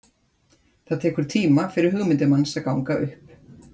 Það tekur tíma fyrir hugmyndir manns að ganga upp.